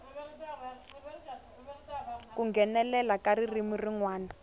ku nghenelela ka ririmi rin